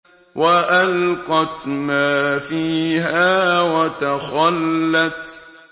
وَأَلْقَتْ مَا فِيهَا وَتَخَلَّتْ